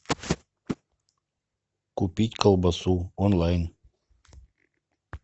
купить колбасу онлайн